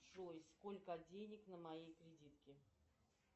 джой сколько денег на моей кредитке